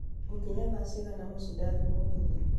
ngukinya thaa cigana mũciĩ ndathiĩ mũgithi